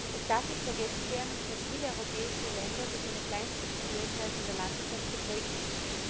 Es darf nicht vergessen werden, dass viele europäische Länder durch eine Kleinstrukturiertheit in der Landwirtschaft geprägt sind.